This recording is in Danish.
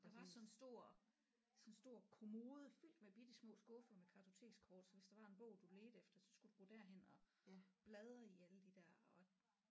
Der var sådan en stor sådan en stor kommode fyldt med bittesmå skuffer med kartotekskort så hvis der var en bog du ledte efter så skulle du gå derhen og bladre i alle de der og